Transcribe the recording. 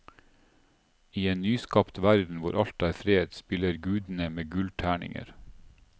I en nyskapt verden hvor alt er fred, spiller gudene med gullterninger.